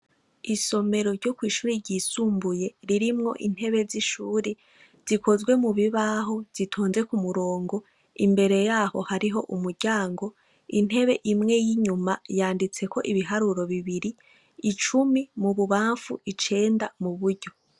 Isomero ryo kw'ishuri ryisumbuye ririmwo intebe z'ishuri zikozwe mubibaho zitonze k'umurongo. Imbere yaho hariho umuryango intebe imwe y'inyuma yanditseko ibiharuro bibiri. Icumi mububamfu icenda muburyo.